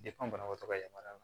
banabagatɔ ka yamaruya la